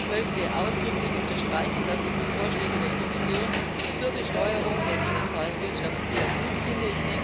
Ich möchte ausdrücklich unterstreichen, dass ich die Vorschläge der Kommission zur Besteuerung der digitalen Wirtschaft sehr gut finde.